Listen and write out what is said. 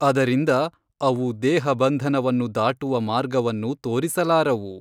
ಅದರಿಂದ ಅವು ದೇಹಬಂಧನವನ್ನು ದಾಟುವ ಮಾರ್ಗವನ್ನು ತೋರಿಸಲಾರವು.